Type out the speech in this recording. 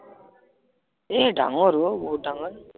এ ডাঙৰ অ বহুত ডাঙৰ